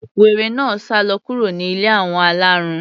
Wèrè náà sálọ kúrò ní ilé àwọn alárùn.